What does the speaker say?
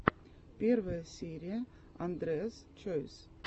первая серия андреас чойс